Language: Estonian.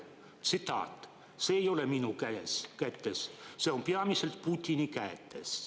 Tsitaat: "See ei ole minu kätes, see on peamiselt Putini kätes.